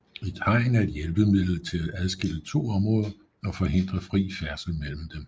Et hegn er et hjælpemiddel til at adskille to områder og forhindre fri færdsel mellem dem